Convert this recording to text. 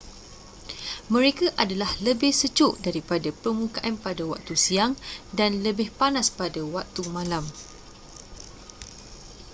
mereka adalah lebih sejuk daripada permukaan pada waktu siang dan lebih panas pada waktu malam